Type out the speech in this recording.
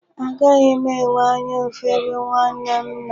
Agaghị m enwe anya ụfụ ebe nwanne m nọ.